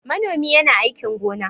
Manomi yana aikin gona.